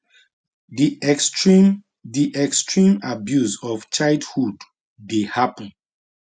di extreme di extreme abuse of childhood dey happun